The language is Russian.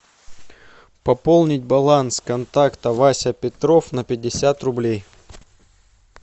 пополнить баланс контакта вася петров на пятьдесят рублей